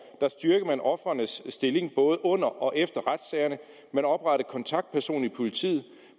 styrkede man ofrenes stilling både under og efter retssagerne at man oprettede kontaktperson i politiet at